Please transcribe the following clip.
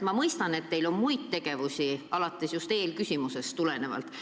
Ma mõistan, et teil on ka muid tööülesandeid, vahest just eelmisest küsimusest tulenevalt.